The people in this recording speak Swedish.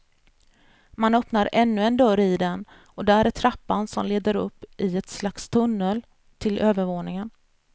Man öppnar ännu en dörr i den, och där är trappan som leder upp i ett slags tunnel till övervåningen.